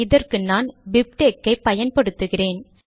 இதற்கு நான் பிப்டெக்ஸ் ஐ பயன்படுத்துகிறேன்